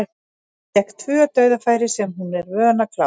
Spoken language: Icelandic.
Fékk tvö dauðafæri sem hún er vön að klára.